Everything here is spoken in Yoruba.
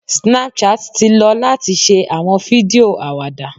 Snapchat ti lo lati ṣe awọn fidio awada.